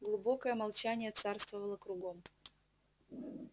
глубокое молчание царствовало кругом